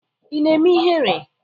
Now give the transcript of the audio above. Ị na-eme ihere?